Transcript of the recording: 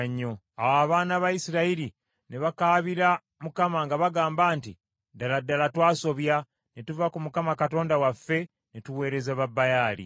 Awo abaana ba Isirayiri ne bakaabira Mukama nga bagamba nti, “Ddala ddala twasobya, ne tuva ku Katonda waffe, ne tuweereza Babaali.”